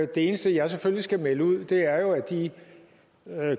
det eneste jeg selvfølgelig skal melde ud er jo at de